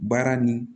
Baara nin